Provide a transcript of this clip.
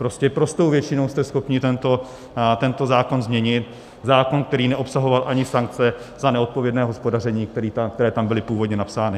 Prostě prostou většinou jste schopni tento zákon změnit, zákon, který neobsahoval ani sankce za neodpovědné hospodaření, které tam byly původně napsány.